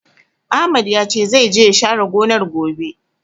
Ahmad ya ce, zai je ya share gonar, gobe.